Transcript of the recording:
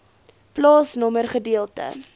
plaasnommer gedeelte